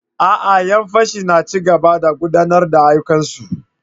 A'a! 'yan fashin na ci gaba da gudanar da ayyukansu.